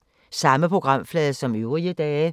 Samme programflade som øvrige dage